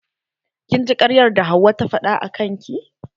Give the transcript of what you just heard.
Kin ji karyar da hauwa ta faɗa akan ki?